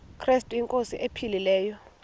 krestu inkosi ephilileyo